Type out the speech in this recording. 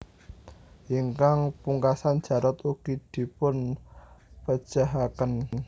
Ingkang pungkasan Jarot ugi dipun pejahaken